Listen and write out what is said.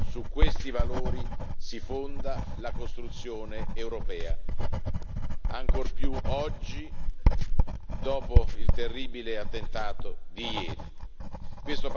Su questi valori si fonda la costruzione europea, ancor più oggi dopo il terribile attentato di ieri.